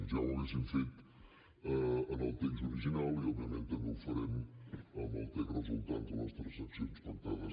ja ho hauríem fet amb el text original i òbviament també ho farem amb el text resultant de les transaccions pactades